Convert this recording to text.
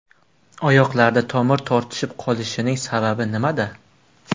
Oyoqlarda tomir tortishib qolishining sababi nimada?